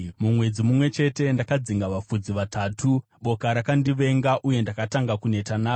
Mumwedzi mumwe chete ndakadzinga vafudzi vatatu. Boka rakandivenga, uye ndakatanga kuneta naro